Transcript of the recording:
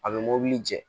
A bɛ mɔbili jɛ